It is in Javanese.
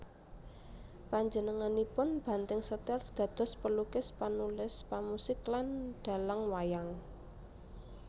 Panjenenganipun banting setir dados pelukis panulis pemusik lan dhalang wayang